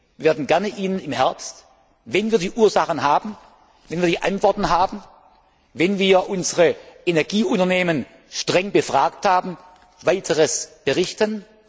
Wir werden Ihnen gerne im Herbst, wenn wir die Ursachen kennen, wenn wir die Antworten haben, wenn wir unsere Energieunternehmen streng befragt haben, Weiteres berichten.